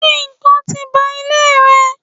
se ikán ti ba ile rẹ?